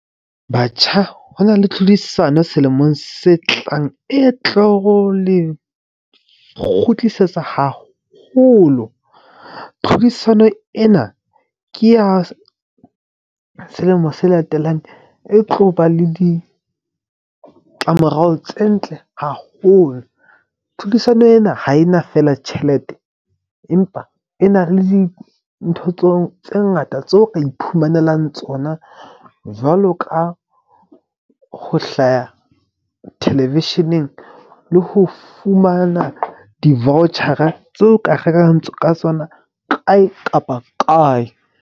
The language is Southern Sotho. Batjha ho na le tlhodisano selemong se tlang, e tlo ho le kgutlisetsa haholo. Tlhodisano ena ke ya selemo se latelang e tloba le ditlamorao tse ntle haholo. Tlhodisano ena ha ena fela tjhelete empa e na le dintho tseo tse ngata tseo ka iphumanelang tsona. Jwalo ka ho hlaya thelevisheneng le ho fumana di-voucher-a tseo ka rekang ka tsona kae kapa kae.